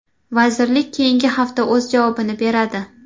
Vazirlik keyingi hafta o‘z javobini beradi.